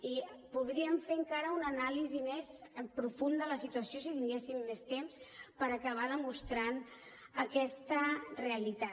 i podríem fer encara una anàlisi més profunda de la situació si tinguéssim més temps per acabar demostrant aquesta realitat